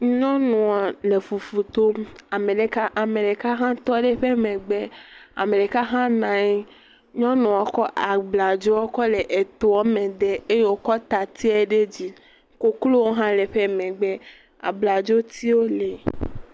Nyɔnua le fufu tom, ame ɖeka hã tɔ ɖe eƒe megbe, ame ɖeka hã nɔ anyi, nyɔnua kɔ abladzo kɔ le etoa me dem eye wòkɔ tati ɖe edzi. Koklowo hã le eƒe megbe, aabladzotiwo lee.